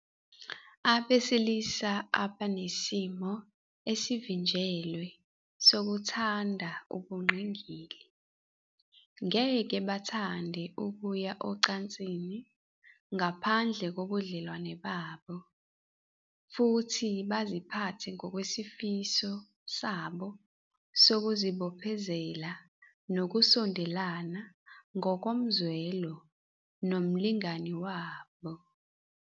Abesilisa abanesimo esivinjelwe sokuthanda ubungqingili ngeke bathande ukuya ocansini ngaphandle kobudlelwano babo futhi baziphathe ngokwesifiso sabo sokuzibophezela nokusondelana ngokomzwelo nomlingani wabo.